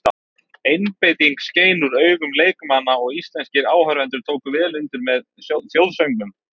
Einbeitingin skein úr augun leikmanna og íslenskir áhorfendur tóku vel undir með þjóðsöngnum.